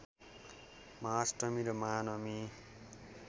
महाअष्टमी र महानवमी